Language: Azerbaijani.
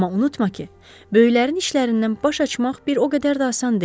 Amma unutma ki, böyüklərin işlərindən baş açmaq bir o qədər də asan deyil.